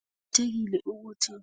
Kuqakathekile ukuthi